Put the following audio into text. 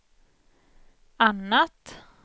annat